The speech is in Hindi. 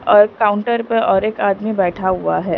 और काउंटर पर और एक आदमी बैठा हुआ है।